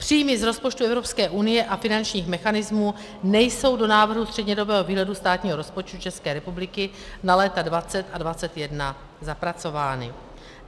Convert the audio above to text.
Příjmy z rozpočtu Evropské unie a finančních mechanismů nejsou do návrhu střednědobého výhledu státního rozpočtu České republiky na léta 2020 a 2021 zapracovány.